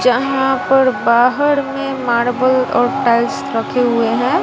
जहां पर बाहर में मार्बल और टाइल्स रखे हुए हैं।